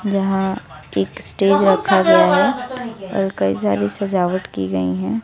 जहां एक स्टेज रखा गया है और कई सारी सजावट की गई है।